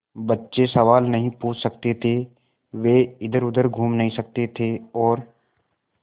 बच्चे सवाल नहीं पूछ सकते थे वे इधरउधर घूम नहीं सकते थे और